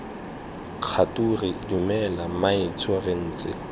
kgature dumela mmaetsho re ntse